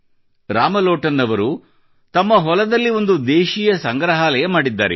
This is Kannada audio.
ರಾಮ ಲೋಟನ್ ಅವರು ತಮ್ಮ ಹೊಲದಲ್ಲಿ ಒಂದು ದೇಶೀಯ ಸಂಗ್ರಹಾಲಯ ಮಾಡಿದ್ದಾರೆ